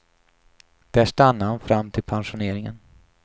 Där stannade han fram till pensioneringen.